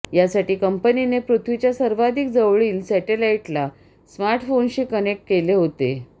यासाठी कंपनीने पृथ्वीच्या सर्वाधिक जवळील सेटेलाईटला स्मार्टफोनशी कनेक्ट केले होते